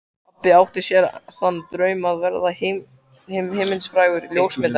Pabbi átti sér þann draum að verða heimsfrægur ljósmyndari.